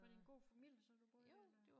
Var det en god familie så du boede eller